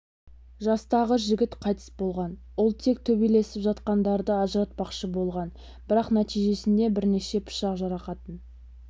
жастағы жігіт қайтыс болған ол тек төбелесіп жатқандарды ажыратпақшы болған бірақ нәтижесінде бірнеше пышақ жарақатын